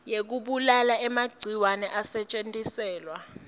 yekubulala emagciwane asetjentiselwa